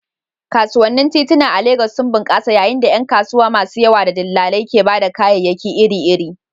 Kasuwannin tituna a Legas sun bunƙasa yayin da ƴan kasuwa masu yawa da dillalai ke ba da kayayyaki iri-iri.